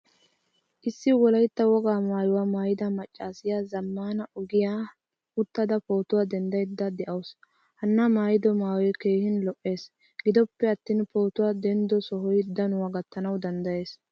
Issi wolaytta wogaa maayuwaa maayida maccasiya zamaana ogiyaan uttada pootuwaa denddayda deawusu. Hanna maayido maayoy keehin lo'ees. Giddoppe attin pootuwaa denddo sohoy danuwaa gattaana danddayees.